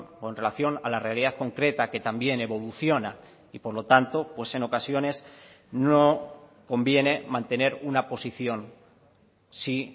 o en relación a la realidad concreta que también evoluciona y por lo tanto pues en ocasiones no conviene mantener una posición si